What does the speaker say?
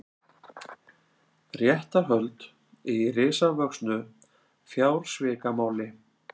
Réttarhöld í risavöxnu fjársvikamáli